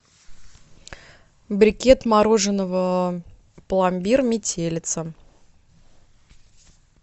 брикет мороженого пломбир метелица